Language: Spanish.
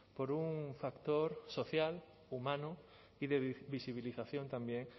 por un factor social humano y de visibilización también